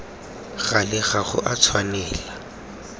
gale ga go a tshwanela